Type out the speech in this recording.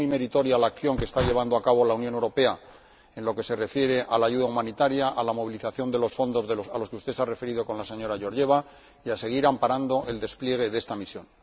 es muy meritoria la acción que está llevando a cabo la Unión Europea en lo que se refiere a la ayuda humanitaria, a la movilización de los fondos a los que usted se ha referido con la señora Georgieva y a seguir amparando el despliegue de esta misión